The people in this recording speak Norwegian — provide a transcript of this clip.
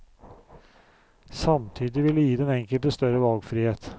Samtidig vil det gi den enkelte større valgfrihet.